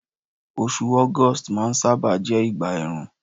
osù august ma n saba jé ìgbà èèrùn